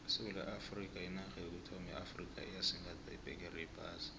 isewula afrikha yinarha yokuthoma eafrikha eyasigatha ibhegere yephasi